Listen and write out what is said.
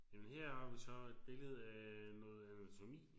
Jamen her har vi så et billede af noget anatomi